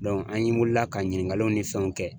Dɔnku an ye wulila ka ɲininkaliw ni fɛnw kɛ